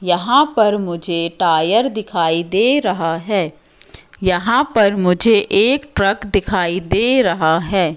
यहां पर मुझे टायर दिखाई दे रहा है यहां पर मुझे एक ट्रक दिखाई दे रहा है।